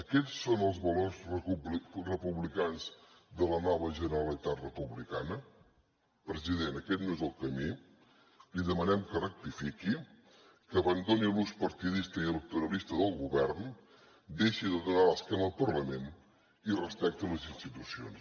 aquests són els valors republicans de la nova generalitat republicana president aquest no és el camí li demanem que rectifiqui que abandoni l’ús partidista i electoralista del govern deixi de donar l’esquena al parlament i respecti les institucions